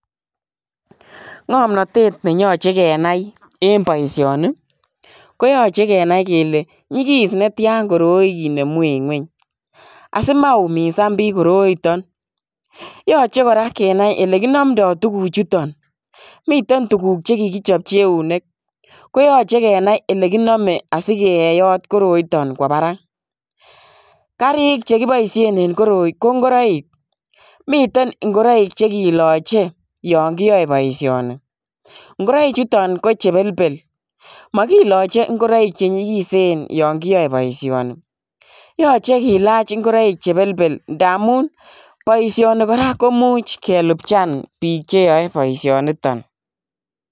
Ngamnatet ne yachei kenai en boisioni ko yachei kenai kele nyigis netyaan koroi kinemuu en kweeny asimaumisaan biik koroitaan yachei kora kenai ele kinamndai tuguuk chutoon miten tuguuk che kikichapchii euneek koyachei kenai ele kiname asikeyoot koroitaan kowa barak gariik che kibaisheen en ko ingoraik miten ingoraik che kilachei yaan kiyae boisioni ingoraik chutoon ko che belbel makilachii ingoraik che nyigiseen yaan kiyae boisioni yachei kilaach ingoraik che belbel ndamuun boisioni kora komuuch kelupjaan biik che yae boisioni nitoon.